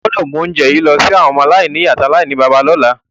O gbọ́dọ̀ mu ounje yi lọ si àwọn ọmọ-aláìnìyá àti aláìníbàbá lọ́la.